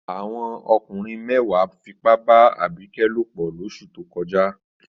Àwọn ọkùnrin mẹ́wàá fipá bá Abike lòpọ̀ lóṣù tó kọjá.